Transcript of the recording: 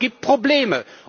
Aber es gibt Probleme.